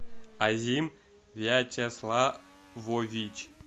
азим вячеславович